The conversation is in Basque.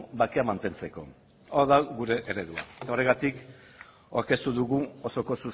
bakea mantentzeko hau da gure eredua horregatik aurkeztu dugu osoko